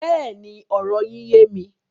Bẹ́ẹ̀ni, ọ̀rọ̀ yín yẹ̀ mí.